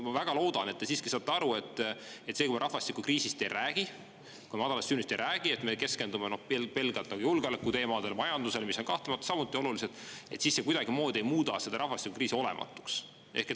Ma väga loodan, et te siiski saate aru, et see, kui me rahvastikukriisist ja madalast sündimusest ei räägi, vaid keskendume pelgalt julgeolekuteemadele ja majandusele, mis on kahtlemata samuti olulised, ei muuda seda rahvastikukriisi kuidagimoodi olematuks.